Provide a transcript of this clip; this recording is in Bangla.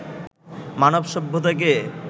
মানব সভ্যতাকে